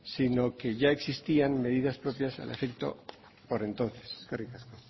si no que ya existían medidas propias al efecto por entonces eskerrik asko